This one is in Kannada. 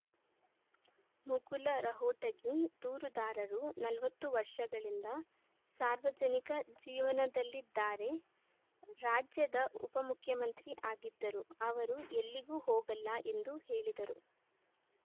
ಮುಕುಲ ರಹೋಟಗಿ ದೂರುದಾರರು ನಲವತ್ತು ವರ್ಷಗಳಿಂದ ಸಾರ್ವಜನಿಕ ಜೀವನದಲ್ಲಿದ್ದಾರೆ ರಾಜ್ಯದ ಉಪ ಮುಖ್ಯಮಂತ್ರಿ ಆಗಿದ್ದರು ಅವರು ಎಲ್ಲಿಗೂ ಹೋಗಲ್ಲ ಎಂದು ಹೇಳಿದರು